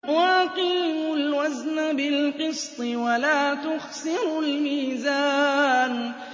وَأَقِيمُوا الْوَزْنَ بِالْقِسْطِ وَلَا تُخْسِرُوا الْمِيزَانَ